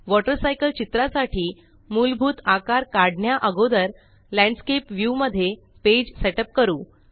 water cycle चित्रा साठी मुलभूत आकार काढण्या अगोदर लँडस्केप व्ह्यू मध्ये पेज सेटप करू